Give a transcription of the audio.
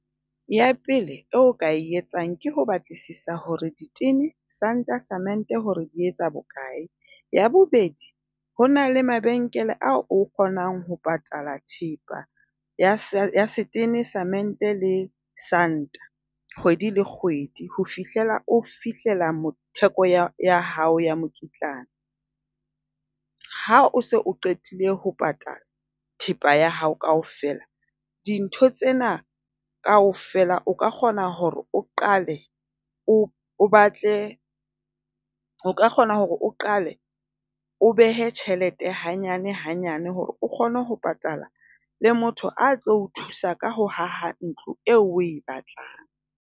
Ya pele eo o ka etsang ke ho batlisisa hore ditene, santa le cement hore di etsa bokae. Ya bobedi, ho na le mabenkele a o kgonang ho patala thepa ya setene, cement le santa. Kgwedi le kgwedi ho fihlela o fihlela theko ya hao ya mokitlane. Ha o se o qetile ho patala thepa ya hao kaofela dintho tsena kaofela o ka kgona hore o qale o batle, o ka kgona hore o qale o behe tjhelete hanyane hanyane hore o kgone ho patala le motho a tlo thusa ka ho aha ntlo eo o e batlang.